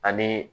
Ani